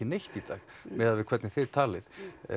neitt í dag miðað við hvernig þið talið